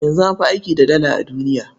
Yanzu an fi aiki da Dala a duniya.